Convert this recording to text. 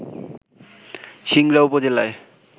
সিংড়া উপজেলায়